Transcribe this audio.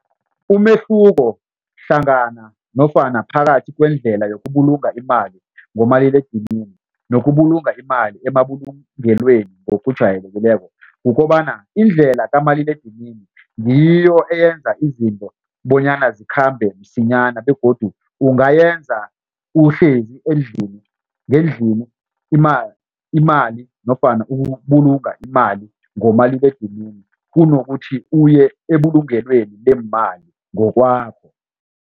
Umehluko hlangana nofana phakathi kwendlela yokubulunga imali ngomaliledinini nokubulunga imali emabulungelweni ngokujayelekileko kukobana indlela kamaliledinini ngiyo eyenza izinto bonyana zikhambe msinyana begodu ungayenza uhlezi ngendlini imali nofana ukubulunga imali ngomaliledinini kunokuthi uye ebulungelweni leemali ngokwakho.